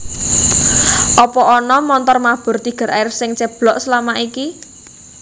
Opo ana montor mabur Tiger Air sing ceblok selama iki?